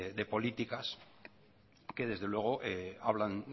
de políticas que desde luego hablan